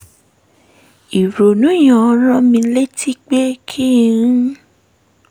ìrònú yẹn rán mi létí pé kí n